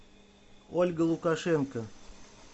ольга лукашенко